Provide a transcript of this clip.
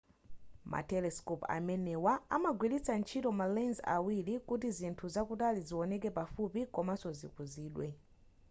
ma telescope amenewa amagwilitsa ntchito ma lens awiri kuti zinthu zakutali zioneke pafupi komanzo zikuzidwe